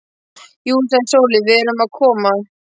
Jú, sagði Sóley, við erum að koma.